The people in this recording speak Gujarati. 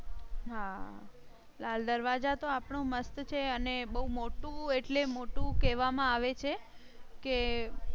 હા લાલ દરવાજા તો આપણું મસ્ત છે અને બહુ મોટું એટલે મોટું કહેવા માં આવે છે કે